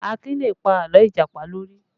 Akin lè pa àlọ́ Ìjàpá lórí